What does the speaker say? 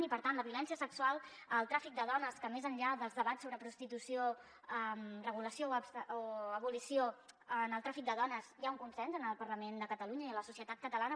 i per tant la violència sexual el tràfic de dones que més enllà dels debats sobre prostitució regulació o abolició en el tràfic del dones hi ha un consens en el parlament de catalunya i a la societat catalana